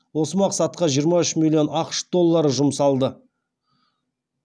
осы мақсатқа жиырма үш миллион ақш доллары жұмсалды